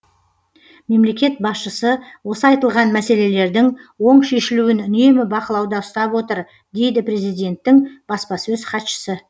мемлекет басшысы осы айтылған мәселелердің оң шешілуін үнемі бақылауда ұстап отыр дейді президенттің баспасөз хатшысы